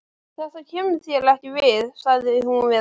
Þetta kemur þér ekki við, sagði hún við hann.